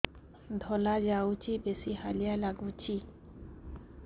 ଧଳା ଯାଉଛି ବେଶି ହାଲିଆ ଲାଗୁଚି